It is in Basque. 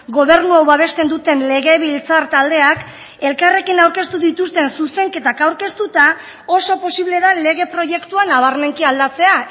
gobernu hau babesten duten legebiltzar taldeak elkarrekin aurkeztu dituzten zuzenketak aurkeztuta oso posible da lege proiektua nabarmenki aldatzea